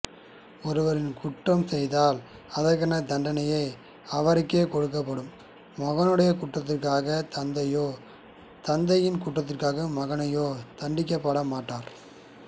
ஒருவர் குற்றம் செய்தால் அதற்கான தண்டனை அவருக்கே கொடுப்படும் மகனுடைய குற்றத்திற்காக தந்தையோ தந்தையின் குற்றத்திற்காக மகனோ தண்டிக்கப்பட மாட்டார்